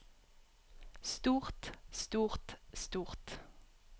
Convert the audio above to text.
stort stort stort